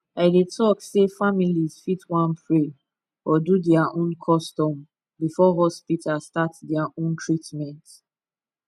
i dey talk sey families fit want pray or do their own custom before hospital start their own teatment